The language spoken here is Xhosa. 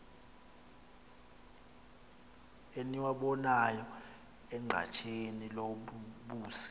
eniwabonayo enqatheni lobusi